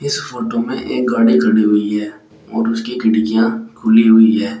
इस फोटो में एक गाड़ी खड़ी हुई है और उसकी खिड़कियां खुली हुई है।